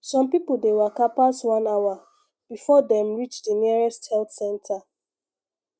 some people dey waka pass one hour before dem reach di nearest health center